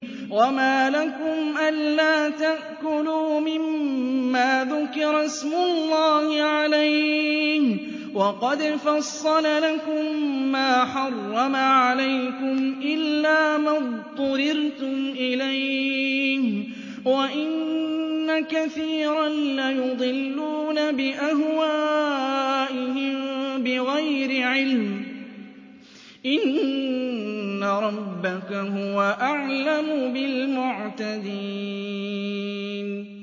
وَمَا لَكُمْ أَلَّا تَأْكُلُوا مِمَّا ذُكِرَ اسْمُ اللَّهِ عَلَيْهِ وَقَدْ فَصَّلَ لَكُم مَّا حَرَّمَ عَلَيْكُمْ إِلَّا مَا اضْطُرِرْتُمْ إِلَيْهِ ۗ وَإِنَّ كَثِيرًا لَّيُضِلُّونَ بِأَهْوَائِهِم بِغَيْرِ عِلْمٍ ۗ إِنَّ رَبَّكَ هُوَ أَعْلَمُ بِالْمُعْتَدِينَ